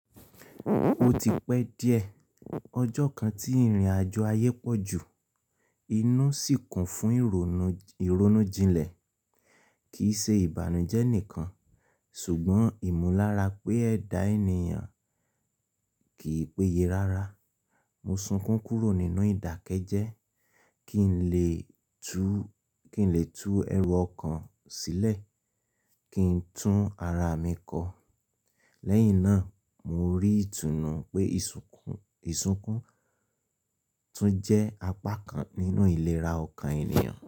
O ti pẹ́ díẹ̀ ọjọ́ kan tí ìrìnàjò ayé pọ̀ jù, inú sì kún fún ìrònú, ìrònú jinlẹ̀ kì í ṣe ìbànújẹ́ nìkan ṣùgbọ́n ìmúlára pé ẹ̀dá ènìyàn kì í péye rárá. Mo sunkún kúrò nínú ìdákẹ́jẹ́ kí n lè tú, kí n lè tú ẹrù ọkan sílẹ̀ kí n tún ara mi kọ. Lẹ́yìn náà mo rí ìtùnú pé ìsùnkún, ìsùnkún tún jẹ́ apá kan nínú ìlera ọkàn ènìyàn.